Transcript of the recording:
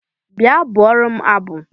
Bịa bụụrụ m abụ!